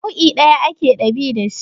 Da nau'i ɗaya ake dab'i da shi